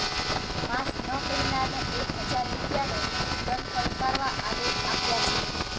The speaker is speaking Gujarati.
માસ્ક ન પહેરનારને એક હજાર રૂપિયાનો દંડ ફટકારવા આદેશ આપ્યા છે